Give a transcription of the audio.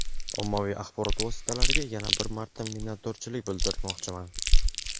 Ommaviy axborot vositalariga yana bir marta minnatdorlik bildirmoqchiman.